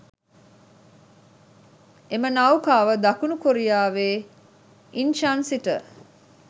එම නෞකාව දකුණු කොරියාවේ ඉන්චන් සිට